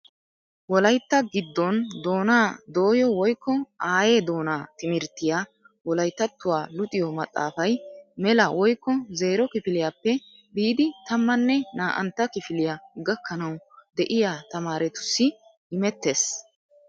Wolaytta giddon doonaa doyo woykko aaye doonaa timirttiyaa wolayttattuwa luxiyo maxaafaay mela woykko zero kifiliyaappe biidi tammane naa'antta kifiliyaa gakkanawu de'iyaa tamaarettussi immettees.